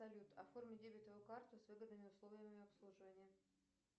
салют оформи дебетовую карту с выгодными условиями обслуживания